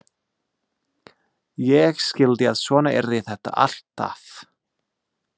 Ég skildi að svona yrði þetta alltaf.